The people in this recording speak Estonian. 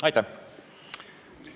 Aitäh!